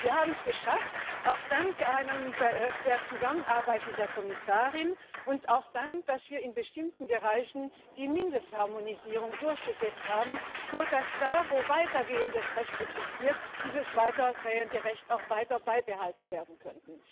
Wir haben es geschafft, auch dank der Zusammenarbeit mit der Kommissarin, und auch weil wir in bestimmten Bereichen die Mindestharmonisierung durchgesetzt haben, sodass da, wo weiter gehendes Recht existiert, dieses weiter gehende Recht auch weiter beibehalten werden kann.